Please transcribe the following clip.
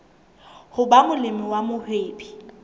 ho ba molemi wa mohwebi